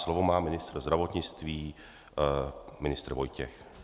Slovo má ministr zdravotnictví, ministr Vojtěch.